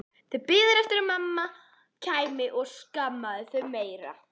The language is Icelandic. Þau biðu eftir að mamma kæmi og skammaði þau meira.